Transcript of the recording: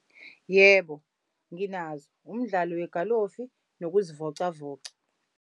Yebo, nginazo umdlalo wegalofi nokuzivocavoca.